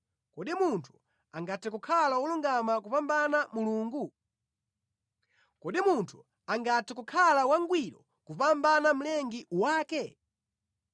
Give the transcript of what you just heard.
‘Kodi munthu angathe kukhala wolungama kupambana Mulungu? Kodi munthu angathe kukhala wangwiro kupambana Mlengi wake?